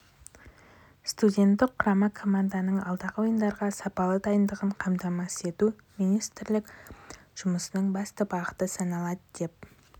студенттік құрама команданың алдағы ойындарға сапалы дайындығын қамтамасыз ету министрлік жұмысының басты бағыты саналады деп